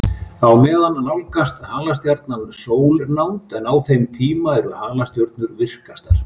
Á meðan nálgast halastjarnan sólnánd, en á þeim tíma eru halastjörnur virkastar.